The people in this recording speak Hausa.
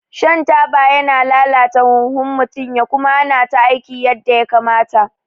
Shan taba yana lalata huhun mutum ya kuma hana ta aiki yadda ya kamata